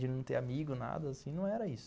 De não ter amigo, nada assim, não era isso.